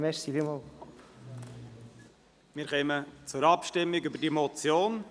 Wir kommen zur Abstimmung über diese Motion.